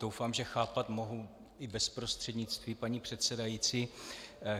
Doufám, že chápat mohu i bez prostřednictví paní předsedající.